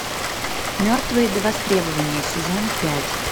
мертвые до востребования сезон пять